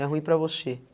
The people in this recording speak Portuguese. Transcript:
É ruim para você.